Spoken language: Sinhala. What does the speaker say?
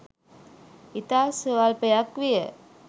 ඉතා ස්වල්පයක් විය.